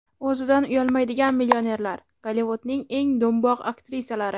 O‘zidan uyalmaydigan millionerlar: Gollivudning eng do‘mboq aktrisalari .